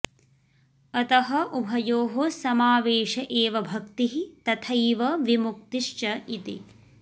अतः उभयोः समावेश एव भक्तिः तथैव विमुक्तिश्च इति